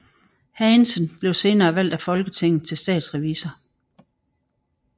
Hagensen blev senere valgt af Folketinget til statsrevisor